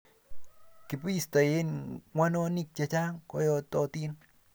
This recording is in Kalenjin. kibistoi ng'wenonik chechang koyototin